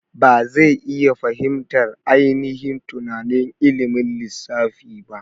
Ba zai iya fahimtar ainihin tunanin ilimin lissafi ba.